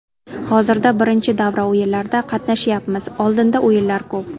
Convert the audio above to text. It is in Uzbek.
Hozirda birinchi davra o‘yinlarida qatnashyapmiz, oldinda o‘yinlar ko‘p.